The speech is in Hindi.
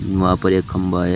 वहां पर एक खंभा है।